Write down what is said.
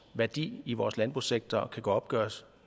værdi i vores landbrugssektor kan opgøres